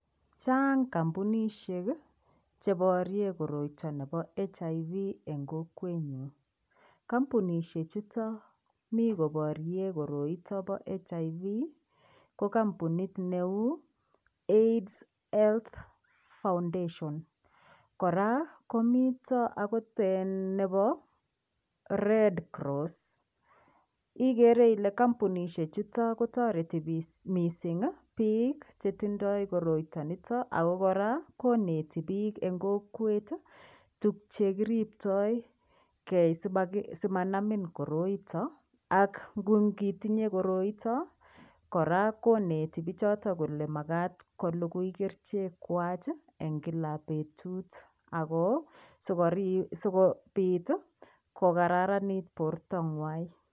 Chang kimpunishek kii cheboroen koroiton nebo HIV en kokwenyun. Kompunishek chuton mii koborien koroiton bo HIV ko kompunit neu Aids health foundation Koraa komito okot eeh nebo Read cross ikere Ile kompunishek chutok kotoreti bik missing kii bik chetindo koroiton ako Koraa konetik bik en kokwet tuk chekiriptoi gee simanami koroiton ak nkot itinye koroito koraa koneti bichoton kole makat kolugui kerichek kwak kii en kala betut ako sikiri sikopit tii kokararanit borta ngwai.